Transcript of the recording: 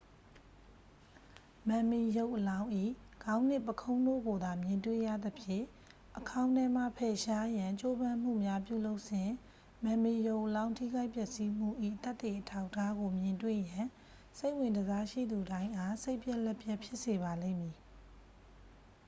မမ်မီရုပ်အလောင်း၏ ခေါင်းနှင့် ပုခုံးတို့ကိုသာ မြင်တွေ့ရသဖြင့် အခေါင်းထဲမှ ဖယ်ရှားရန် ကြိုးပမ်းမှုများပြုလုပ်စဉ် မမ်မီရုပ်အလောင်းထိခိုက်ပျက်စီးမှု၏ သက်သေအထောက်အထားကို မြင်တွေ့ရန် စိတ်ဝင်တစားရှိသူတိုင်းအား စိတ်ပျက်လက်ပျက်ဖြစ်စေပါလိမ့်မည်